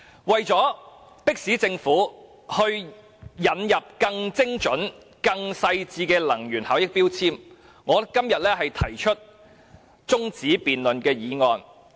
為了迫使政府引入更精準、更細緻的能源標籤，我今天提出中止待續議案。